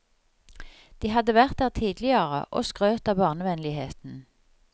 De hadde vært der tidligere, og skrøt av barnevennligheten.